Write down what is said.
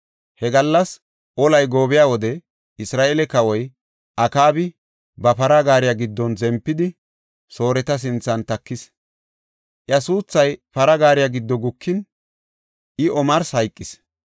He gallas olay goobiya wode, Isra7eele kawoy Akaabi ba para gaariya giddon zempidi, Sooreta sinthan takis. Iya suuthay para gaariya giddo gukin, I omarsi hayqis.